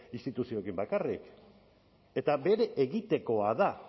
instituzioekin bakarrik eta bere egitekoa da